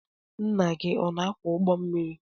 Ńnà gị ọ na akwọ ụgbọ mmiri?